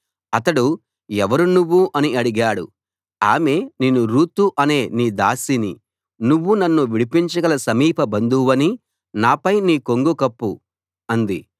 అతడు ఎవరు నువ్వు అని అడిగాడు ఆమె నేను రూతు అనే నీ దాసిని నువ్వు నన్ను విడిపించగల సమీప బంధువువి నాపై నీ కొంగు కప్పు అంది